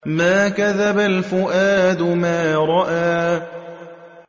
مَا كَذَبَ الْفُؤَادُ مَا رَأَىٰ